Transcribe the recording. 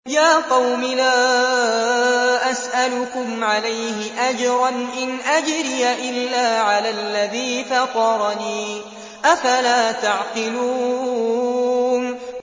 يَا قَوْمِ لَا أَسْأَلُكُمْ عَلَيْهِ أَجْرًا ۖ إِنْ أَجْرِيَ إِلَّا عَلَى الَّذِي فَطَرَنِي ۚ أَفَلَا تَعْقِلُونَ